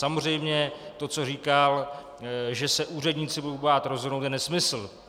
Samozřejmě to, co říkal, že se úředníci budou bát rozhodnout, je nesmysl.